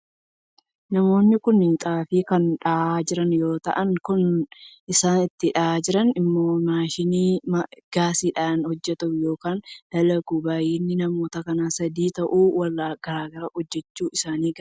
Namoonni kun xaafii kan dhahaa jiran yoo ta'u, kan isaan itti dhahaa jiran immoo maashinii gaasiidhaan hojjetu yookiin dalagudha. Baay'inni namoota kanaa sadii yoo ta'u, wal gargaaranii hojjechuuf isaan gargaara.